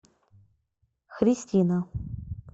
христина